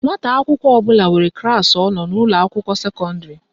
Nwata akwụkwọ ọbụla nwere klaasị ọ nọ n'ụlọakwụkwọ sekọndịrị